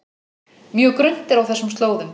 Mjög grunnt er á þessum slóðum